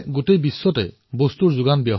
কিন্তু আমি এই সংকটৰ পৰা নতুন কথা শিখিছো